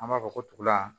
An b'a fɔ ko tugula